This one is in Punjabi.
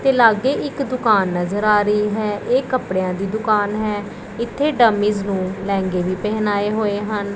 ਤੇ ਲੱਗੇ ਇੱਕ ਦੁਕਾਨ ਨਜ਼ਰ ਆ ਰਹੀ ਹੈ ਇਹ ਕਪੜਿਆਂ ਦੀ ਦੁਕਾਨ ਹੈ ਇੱਥੇ ਡੰਮੀਜ਼ ਨੂੰ ਲਹਿੰਗੇ ਵੀ ਪਹਿਨਾਏ ਹੋਏ ਹਨ।